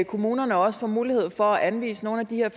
kommunerne også får mulighed for at anvise nogle af de